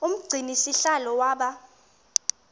umgcini sihlalo waba